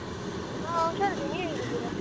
ಹಾ ಹುಷಾರಿದೀನಿ ನೀವ್ ಹೇಗಿದ್ದೀರಾ?